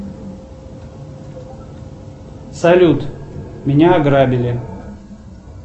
салют меня ограбили